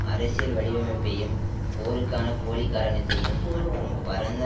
அரசியல் வடிவமைப்பையும் போருக்கான போலி காரணத்தையும் மற்றும் பரந்த